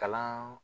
Kalan